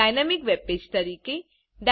અને dynamic webpage તરીકે